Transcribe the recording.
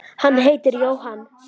Hann heitir Jóhann